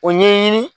O ɲɛɲini